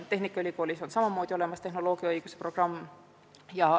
Tehnikaülikoolis on samamoodi olemas tehnoloogiaõiguse programm.